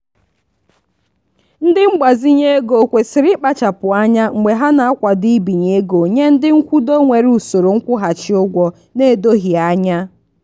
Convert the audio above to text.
ndị ngbazinye ego kwesịrị ịkpachapụ anya mgbe ha na-akwado ibinye ego nye ndị nkwudo nwere usoro nkwụghachi ụgwọ na-edoghị anya.